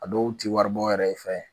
A dɔw ti waribɔ yɛrɛ fɛ